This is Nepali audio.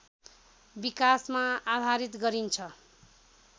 विकाशमा आधारित गरिन्छ